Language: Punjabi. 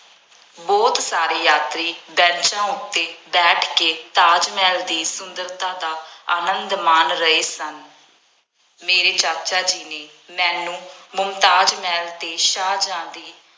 ਬਹੁਤ ਸਾਰੇ ਯਾਤਰੀ ਬੈਂਚਾਂ ਉੱਤੇ ਬੈਠ ਕੇ ਤਾਜ ਮਹਿਲ ਦੀ ਸੁੰਦਰਤਾ ਦਾ ਆਨੰਦ ਮਾਣ ਰਹੇ ਸਨ। ਮੇਰੇ ਚਾਚਾ ਜੀ ਨੇ ਮੈਨੂੰ ਮੁਮਤਾਜ਼ ਮਹਿਲ ਅਤੇ ਸ਼ਾਹਜਹਾਂ ਦੀ